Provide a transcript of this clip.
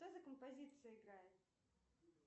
что за композиция играет